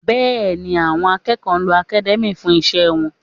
Bẹ́ẹ̀ni, àwọn akẹ́kọ̀ọ́ lo academia fún iṣẹ́ wọn